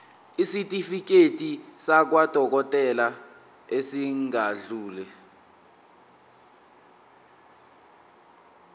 isitifiketi sakwadokodela esingadluli